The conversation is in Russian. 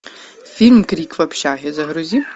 фильм крик в общаге загрузи